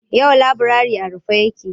Yau laburare a rufe yake.